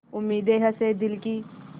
उम्मीदें हसें दिल की